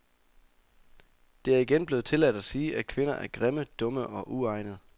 Det er igen blevet tilladt at sige, at kvinder er grimme, dumme og uegnede.